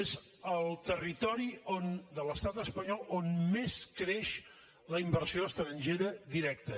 és el territori de l’estat espanyol on més creix la inversió estrangera directa